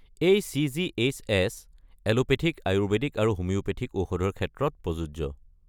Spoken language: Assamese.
এই চি.জি.এইচ.এছ. এলোপেথিক, আয়ুৰ্বেদিক আৰু হোমিঅ'পেথিক ঔষধৰ ক্ষেত্ৰত প্ৰযোজ্য।